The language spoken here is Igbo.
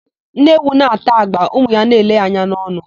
Nne ewu na-ata agba, ụmụ ya a na-ele ya anya n'ọnụ.